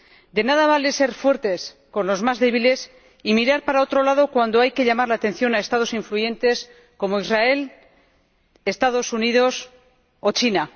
De nada vale ser fuertes con los más débiles y mirar para otro lado cuando hay que llamar la atención a Estados influyentes como Israel, los Estados Unidos o China.